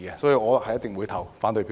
所以，我一定會投反對票。